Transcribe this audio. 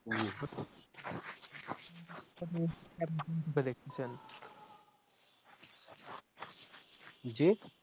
জি,